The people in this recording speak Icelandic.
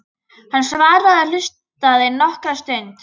Hann svaraði og hlustaði nokkra stund.